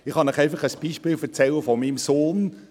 Ich kann Ihnen von einem Beispiel meines Sohnes erzählen.